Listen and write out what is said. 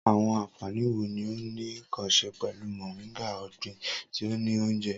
Awọn anfani wo ni o ni nkan ṣe pẹlu Moringa, ọgbin ti o ni ounjẹ?